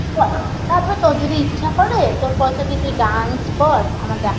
কর তারপর তোর যদি ইচ্ছা করে তোর পয়সা দিয়ে তুই dance কর আমার দেখা~